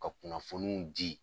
Ka kunnafoniw di